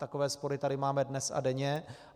Takové spory tady máme dnes a denně.